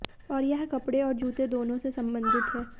और यह कपड़े और जूते दोनों से संबंधित है